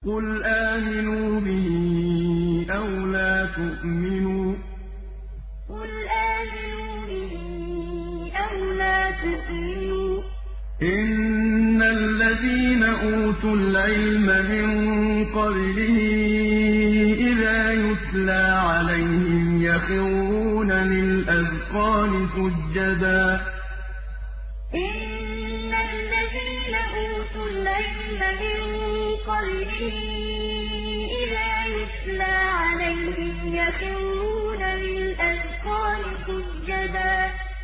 قُلْ آمِنُوا بِهِ أَوْ لَا تُؤْمِنُوا ۚ إِنَّ الَّذِينَ أُوتُوا الْعِلْمَ مِن قَبْلِهِ إِذَا يُتْلَىٰ عَلَيْهِمْ يَخِرُّونَ لِلْأَذْقَانِ سُجَّدًا قُلْ آمِنُوا بِهِ أَوْ لَا تُؤْمِنُوا ۚ إِنَّ الَّذِينَ أُوتُوا الْعِلْمَ مِن قَبْلِهِ إِذَا يُتْلَىٰ عَلَيْهِمْ يَخِرُّونَ لِلْأَذْقَانِ سُجَّدًا